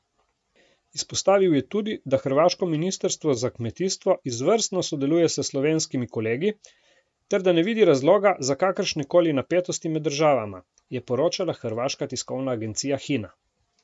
Izpostavil je tudi, da hrvaško ministrstvo za kmetijstvo izvrstno sodeluje s slovenskimi kolegi ter da ne vidi razloga za kakršne koli napetosti med državama, je poročala hrvaška tiskovna agencija Hina.